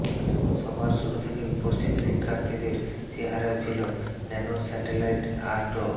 সভার শুরু থেকেই উপস্থিত শিক্ষার্থীদের চেহারায় ছিল ন্যানোস্যাটেলাইট আর ড